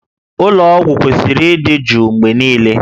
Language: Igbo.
Ụlọ ọgwụ kwesịrị ịdị jụụ mgbe niile